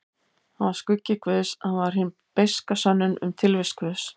Hann var skuggi guðs, hann var hin beiska sönnun um tilvist guðs.